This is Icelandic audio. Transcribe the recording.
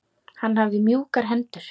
Hann hafði mjúkar hendur.